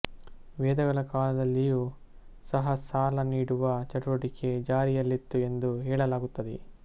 ವೇದಗಳ ಕಾಲದಲ್ಲಿಯೂ ಸಹ ಸಾಲ ನೀಡುವ ಚಟುವಟಿಕೆ ಜಾರಿಯಲ್ಲಿತ್ತು ಎಂದು ಹೇಳಲಾಗುತ್ತದೆ